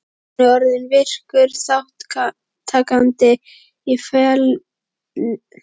Hann er orðinn virkur þátttakandi í ferli nútímans.